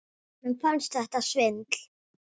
Honum fannst þetta svindl.